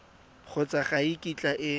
kgotsa ga e kitla e